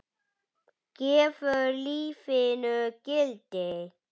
Helga: Gefur lífinu gildi?